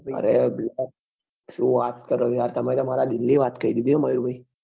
અરે શું વાત કરો છો યાર તમે તો મારા દિલ ની વાત કહી દીધી મહેશ ભાઈ